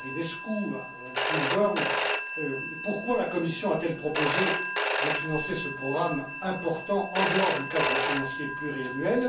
Marinescu, à Mme Swinburne pourquoi la Commission a t elle proposé de financer ce programme important en dehors du cadre financier pluriannuel?